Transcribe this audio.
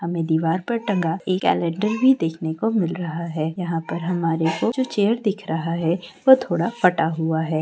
हमें दीवार पर टंगा एक कैलेंडर भी देखने को मिल रहा है यहाँ पर हमारे को दो ठो चेयर दिख रहा है जो चेयर दिख रहा है वो थोड़ा फटा हुआ है।